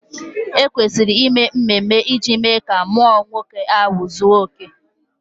E kwesịrị ime mmemme iji mee ka mmụọ nwoke ahụ zuo ike